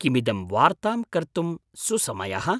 किमिदं वार्तां कर्तुं सुसमयः?